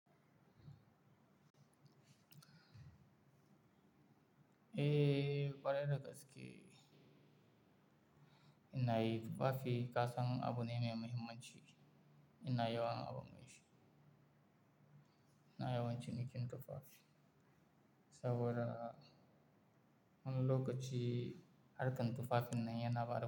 Eh, ƙware da gaske. Ina yi tufafi kasan abu me muhimman ciki. Ina yawan abu mai shi. Ina yawancin bikin tufafi saboda wani lokaci harkan tufafin na yana bada.